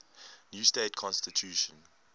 new state constitution